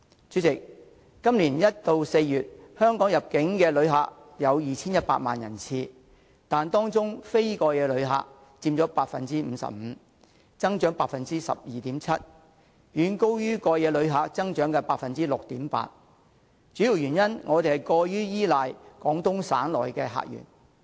主席，今年1月至4月香港的入境旅客有 2,100 萬人次，但當中非過夜旅客佔 55%， 增長達 12.7%， 遠高於過夜旅客增長的 6.8%， 主要原因是我們過於依賴廣東省的客源。